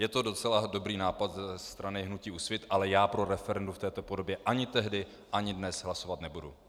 Je to docela dobrý nápad ze strany hnutí Úsvit, ale já pro referendum v této podobě ani tehdy ani dnes hlasovat nebudu.